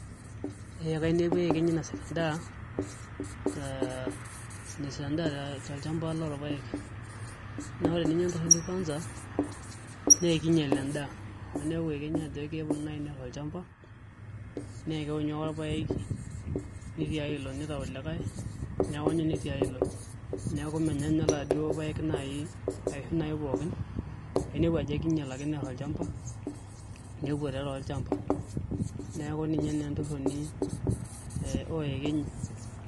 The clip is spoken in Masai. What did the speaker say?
Ee kainepua iyekenyi inosida endaa taa enasida endaa tolshamba lolpayek naa ninye entoki ekwanza naa keinyal endaa amu ainepu iyekenyi ajo keponu nai ner olshamba nekewonyu ake olbaek nitiaya ilo nitiaya ilo nitiaya ilo neeku menya toi ninye nai laduo payek nai aishu ninye nai pooki ainepu ajo kiinyiak ake neer olshamba nepuo tiatua olshamba neeku ninye naa entoroni ooyekenyi.